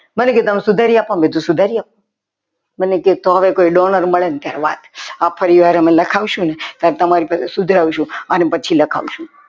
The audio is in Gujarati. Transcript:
મને કે તમે સુધારી આપો. મેં કીધું સુધારી આપો. મને કે તમને કંઈ ડોલ મળે ને ત્યારે વાત આ પરિવાર અમે લખાવશું ને તો તમારી પાસે સુધરાવશું અને પછી લખાવશું